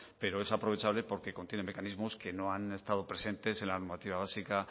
pero es aprovechable porque contiene mecanismos que no han estado presentes en la normativa básica